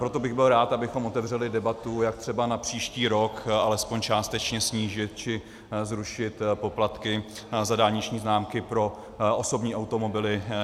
Proto bych byl rád, abychom otevřeli debatu, jak třeba na příští rok alespoň částečně snížit či zrušit poplatky za dálniční známky pro osobní automobily.